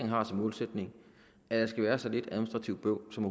har som målsætning at der skal være så lidt administrativt bøvl som